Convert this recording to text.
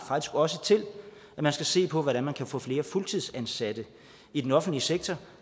også til at man skal se på hvordan man kan få flere fuldtidsansatte i den offentlige sektor